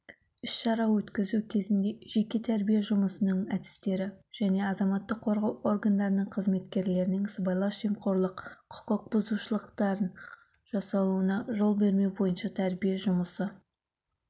іс-шара өткізу кезінде жеке-тәрбие жұмысының әдістері және азаматтық қорғау органдарының қызметкерлерінің сыбайлас жемқорлық құқық бұзушылықтарын жасауына жол бермеу бойынша тәрбие жұмысы